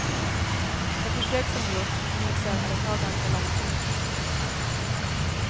De försök som gjorts visar att det tar ganska lång tid.